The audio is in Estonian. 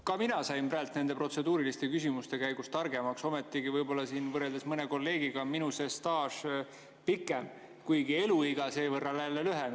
Ka mina sain praegu nende protseduuriliste küsimuste käigus targemaks, ometi võrreldes mõne kolleegiga on minu staaž pikem, kuigi eluiga jälle lühem.